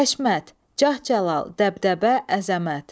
Həşmət, cah-cəlal, dəbdəbə, əzəmət.